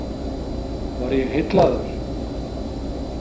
Var ég heillaður?